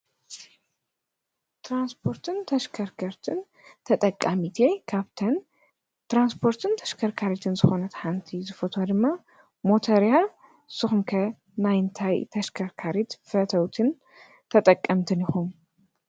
ትራንስፖርትን ተሽከርከርትን ተጠቃሚት እየ፡፡ ካብተን ተራንስፖርትን ተሽከርካሪትን ዝኾነት ሓንቲ ድማ ዝፈትዋ ድማ ሞተር እያ፡፡ ንስኹም ከ ናይ እንታይ ተሽከርካሪት ፈተውትን ተጠቀምትን ኢኹም?